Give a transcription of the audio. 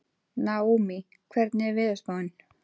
Naómí, hvernig er veðurspáin?